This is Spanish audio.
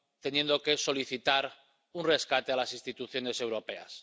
teniendo que solicitar un rescate a las instituciones europeas.